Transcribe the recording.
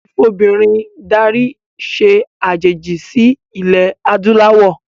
Ìfobìnrin darí se àjèjì sí ilẹ̀ adúláwọ̀